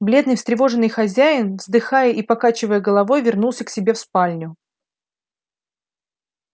бледный встревоженный хозяин вздыхая и покачивая головой вернулся к себе в спальню